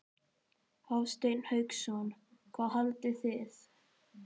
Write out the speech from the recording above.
Hafsteinn Hauksson: Hvað haldið þið?